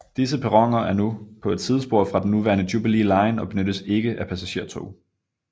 Disse perroner er nu på et sidespor fra den nuværende Jubilee line og benyttes ikke af passagertog